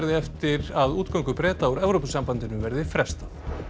eftir að útgöngu Breta úr Evrópusambandinu verði frestað